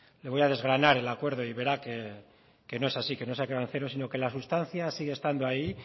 le voy a desgranar el acuerdo y verá que no es así que no se ha quedado en cero sino que la sustancia sigue estando ahí